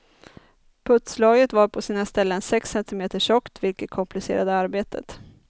Putslagret var på sina ställen sex centimeter tjockt, vilket komplicerade arbetet.